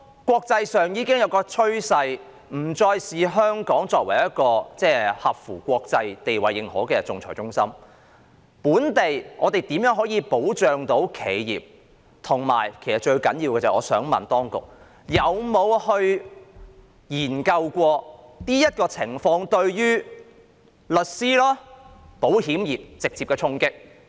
國際間已有趨勢不再視香港為一個國際認可的仲裁中心，政府會如何保障企業，以及最重要的是，當局有否研究這情況對律師行業及保險業會否造成直接衝擊？